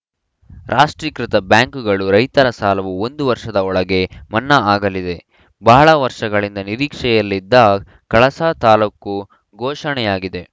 ರಾಷ್ಟೀಕೃತ ಬ್ಯಾಂಕುಗಳು ರೈತರ ಸಾಲವು ಒಂದು ವರ್ಷದ ಒಳಗೆ ಮನ್ನಾ ಆಗಲಿದೆ ಬಹಳ ವರ್ಷಗಳಿಂದ ನಿರೀಕ್ಷೆಯಲ್ಲಿದ್ದ ಕಳಸ ತಾಲೂಕು ಘೋಷಣೆಯಾಗಿದೆ